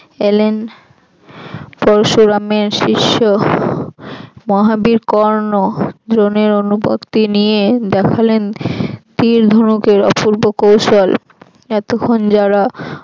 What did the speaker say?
এলেন পরশুরামের শিষ্য মহাবীর কর্ণ দ্রোনের অনুমতি নিয়ে দেখালেন তীর ধনুকের অপূর্ব কৌশল এতক্ষন যারা